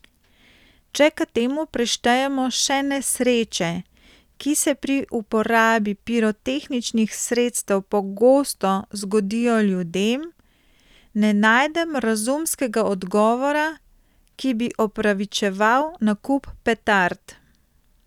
Če k temu prištejemo še nesreče, ki se pri uporabi pirotehničnih sredstev pogosto zgodijo ljudem, ne najdem razumskega odgovora, ki bi opravičeval nakup petard.